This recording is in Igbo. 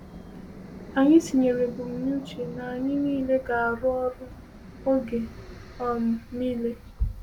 Anyị tinyere ebumnuche na anyị niile ga-arụ ọrụ ọrụ oge um niile.